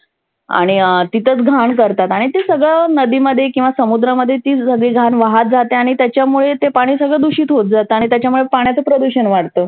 आणि अं तिथंच घाण करतात. आणि ते सगळ नदिमध्ये किंवा समुद्रामध्ये तिच घाण वाहात जाते आणि त्याच्यामुळे ते पाणि सगळ दुषित होत जात. आणि त्याच्यामुळ पाण्याचं प्रदुषन वाढतं.